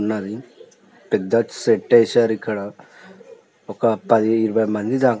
ఒక పది ఇరవై మంది దాకా ఉన్నారు కుర్చీలు చాలా బాగా ఉన్నవి స్టేజి చాలా బాగుంది